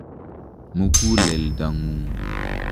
Mukuleldo ng'ung'.